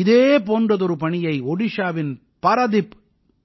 இதே போன்றதொரு பணியை ஒடிஷாவின் பாராதீப்